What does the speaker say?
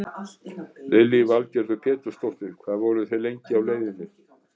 Lillý Valgerður Pétursdóttir: Hvað voruð þið lengi á leiðinni?